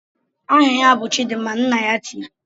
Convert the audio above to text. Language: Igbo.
"Aha ya bụ Chidimma!" Nna ya tiri.